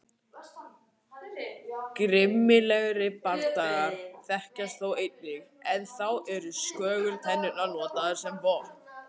Grimmilegri bardagar þekkjast þó einnig en þá eru skögultennurnar notaðar sem vopn.